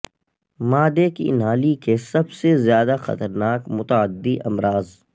معدے کی نالی کے سب سے زیادہ خطرناک متعدی امراض